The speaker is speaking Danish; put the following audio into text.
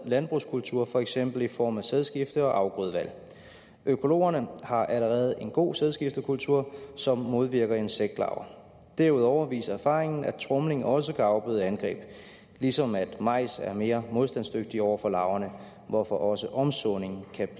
landbrugskultur for eksempel i form af sædskifte og afgrødevalg økologerne har allerede en god sædskiftekultur som modvirker insektlarver derudover viser erfaringen at tromling også kan afbøde angreb ligesom majs er mere modstandsdygtigt over for larverne hvorfor også omsåning kan